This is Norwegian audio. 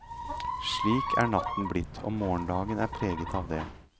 Slik er natten blitt, og morgendagen er preget av det.